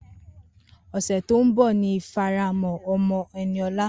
Ose to n bo ni ifaramo omo Eniola.